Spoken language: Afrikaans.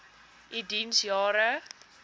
u diens jare